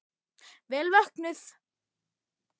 Vel vöknuð!